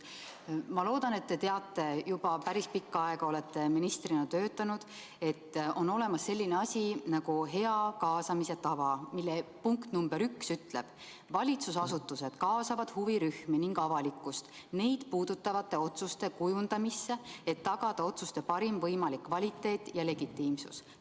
Ma loodan, et te teate, olete juba päris pikka aega ministrina töötanud, et on olemas selline asi nagu kaasamise hea tava, mille punkt nr 1 ütleb: "Valitsusasutused kaasavad huvirühmi ning avalikkust neid puudutavate otsuste kujundamisse, et tagada otsuste parim võimalik kvaliteet ja legitiimsus.